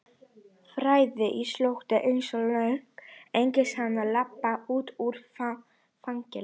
fræðin er slóttug einsog lögin og enginn hafnar því að labba út úr fangelsi.